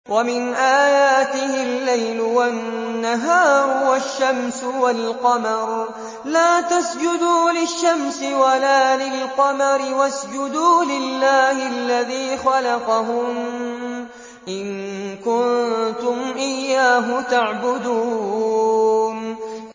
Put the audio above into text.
وَمِنْ آيَاتِهِ اللَّيْلُ وَالنَّهَارُ وَالشَّمْسُ وَالْقَمَرُ ۚ لَا تَسْجُدُوا لِلشَّمْسِ وَلَا لِلْقَمَرِ وَاسْجُدُوا لِلَّهِ الَّذِي خَلَقَهُنَّ إِن كُنتُمْ إِيَّاهُ تَعْبُدُونَ